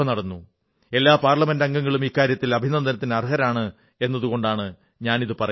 എല്ലാ പാർലമെന്റംഗങ്ങളും ഇക്കാര്യത്തിൽ അഭിനന്ദനത്തിന് അർഹരാണ് എന്നതുകൊണ്ടാണ് ഞാനിത് പറയുന്നത്